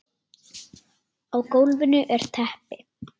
Á gólfinu er teppi.